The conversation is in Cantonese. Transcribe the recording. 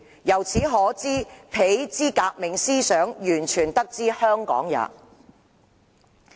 由此可知彼之革命思想完全得之香港也。